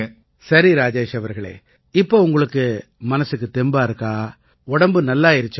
சரி ராஜேஷ் அவர்களே இப்ப உங்களுக்கு மனசுக்குத் தெம்பா இருக்கா உடம்பு நல்லாயிருச்சா